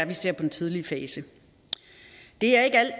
vi ser på den tidlige fase det er ikke alt